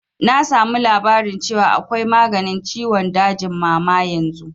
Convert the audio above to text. Na samu labarin cewa akwai maganin ciwon dajin mama yanzu